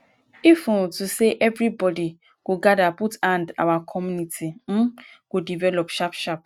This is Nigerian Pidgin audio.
if um to say everybody go gadir put hand our community um go develop sharp sharp